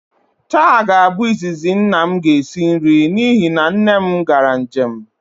Taa ga-abụ izizi nna m ga-esi nri n'ihi na nne m gara njem